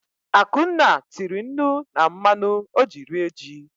Akunna tiri nnu na mmanụ ọ ji rie ji.